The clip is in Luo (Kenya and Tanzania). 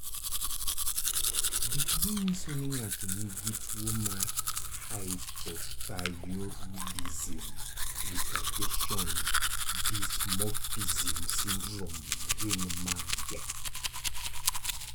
Gik manyiso ni ng'ato nigi tuwo mar hypothyroidism retardation dysmorphism syndrome gin mage?